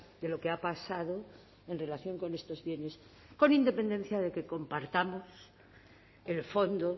de lo que ha pasado en relación con estos bienes con independencia de que compartamos el fondo